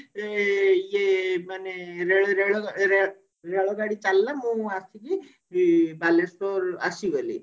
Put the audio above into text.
ଏ ଇଏ ମାନେ ରେଳ ରେଳ ରେଳ ଗାଡି ଚାଲିଲା ମୁଁ ଆସିକି ଇ ବାଲେଶ୍ଵର ଆସିଗଲି